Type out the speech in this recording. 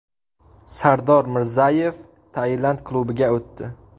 Sardor Mirzayev Tailand klubiga o‘tdi.